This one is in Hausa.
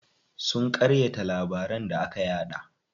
Sun ƙaryata labaran da aka yaɗa.